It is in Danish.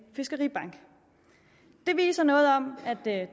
fiskeribank det viser noget om